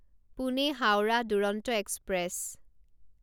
Pune Howrah Duronto express